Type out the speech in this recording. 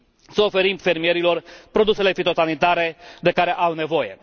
să oferim fermierilor produsele fitosanitare de care au nevoie.